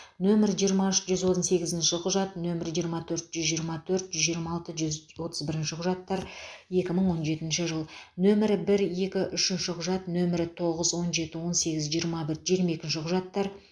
нөмірі жиырма үш жүз он сегізінші құжат нөмірі жиырма төрт жүз жиырма төрт жүз жиырма алты жүз отыз бірінші құжаттар екі мың он жетінші жыл нөмірі бір екі үшінші құжат нөмірі тоғыз он жеті он сегіз жиырма бір жиырма екінші құжаттар